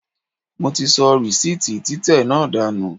Mo ti sọ rìsíìtì títẹ̀ náà dànù.